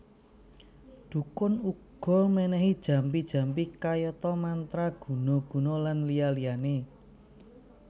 Dhukun uga ménéhi jampi jampi kayata mantra guna guna lan liya liyané